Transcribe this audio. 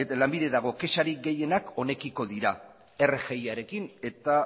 lanbide dago kexarik gehienak honekiko dira rgi arekin eta